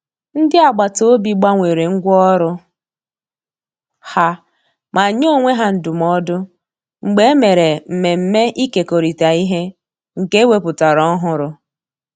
Ndị agbataobi gbanwere ngwa ọrụ ha ma nye onwe ha ndụmọdụ mgbe e mere mmemme ikekorita ihe nke e wepụtara ọhụrụ